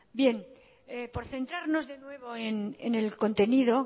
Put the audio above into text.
bien por centrarnos de nuevo en el contenido